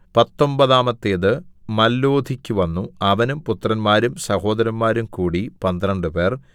പത്തൊമ്പതാമത്തേത് മല്ലോഥിക്കു വന്നു അവനും പുത്രന്മാരും സഹോദരന്മാരും കൂടി പന്ത്രണ്ടുപേർ